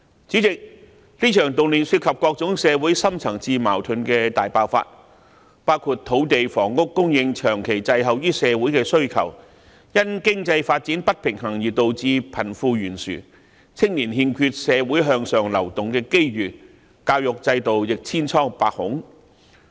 主席，這場動亂涉及各種社會深層次矛盾的大爆發，包括土地房屋供應長期滯後於社會的需求、因經濟發展不平衡而導致貧富懸殊、青年欠缺社會向上流動的機遇、教育制度亦千瘡百孔。